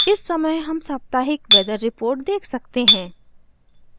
इस समय हम साप्ताहिक वेदर रिपोर्ट देख सकते हैं